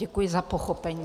Děkuji za pochopení.